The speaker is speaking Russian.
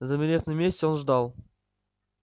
замерев на месте он ждал